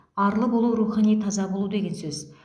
арлы болу рухани таза болу деген сөз